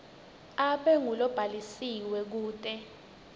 abe ngulobhalisiwe kute